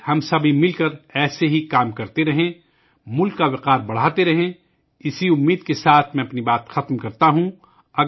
آئیے ، ہم سب مل کر ملک کے لئے کام کرتے رہیں، ملک کی عزت میں اضافہ کرتے رہیں، اسی خواہش کے ساتھ میں اپنی بات ختم کرتا ہوں